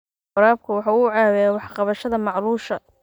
Waraabku waxa uu caawiyaa wax ka qabashada macluusha.